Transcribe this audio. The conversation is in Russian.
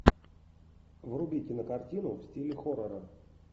вруби кинокартину в стиле хоррора